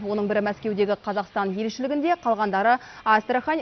оның бірі мәскеудегі қазақстан елшілігінде қалғандары астрахань